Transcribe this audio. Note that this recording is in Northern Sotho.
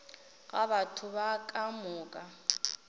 ga batho ba ka moka